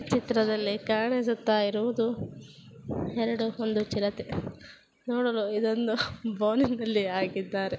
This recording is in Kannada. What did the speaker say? ಚಿತ್ರದಲ್ಲಿ ಕಾಣಿಸುತ್ತಯಿರುವುದು ಎರಡು ಹೊಂದ ಚಿರತೆ. ನೋಡಲು ಇದೊಂದು ನಲ್ಲಿ ಹಾಕಿದರೆ.